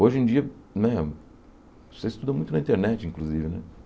Hoje em dia, né, você estuda muito na internet, inclusive, né?